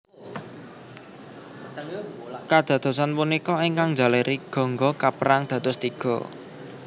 Kadadosan punika ingkang njalari Gangga kapérang dados tiga